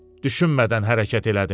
Düşünmədən hərəkət elədim.